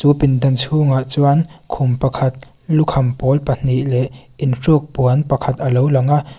chu pindan chhungah chuan khum pakhat lukham pawl pahnih leh in suk puan pakhat alo lang a.